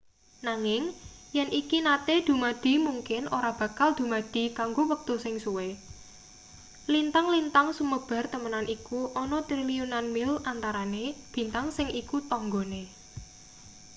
nanging yen iki nate dumadi mungkin ora bakal dumadi kanggo wektu sing suwe lintang-lintang sumebar temenan iku ana triliunan mil antarane bintang sing iku tanggane